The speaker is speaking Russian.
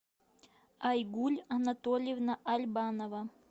айгуль анатольевна альбанова